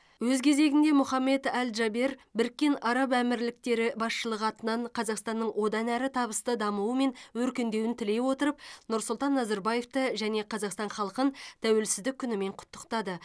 өз кезегінде мұхаммед аль джабер біріккен араб әмірліктері басшылығы атынан қазақстанның одан әрі табысты дамуы мен өркендеуін тілей отырып нұрсұлтан назарбаевты және қазақстан халқын тәуелсіздік күнімен құттықтады